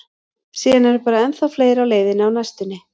Síðan eru bara ennþá fleiri á leiðinni á næstunni.